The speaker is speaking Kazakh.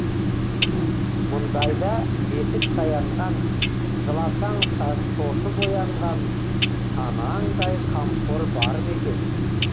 мұндай да бесік таянған жыласаң шошып оянған анаңдай қамқор бар ма екен